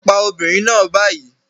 Pa obìnrin náà báyìí